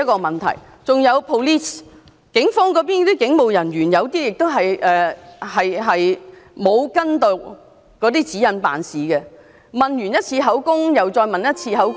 還有 police， 有部分警務人員未有依從指引辦事，錄取完口供後，又再次錄取口供......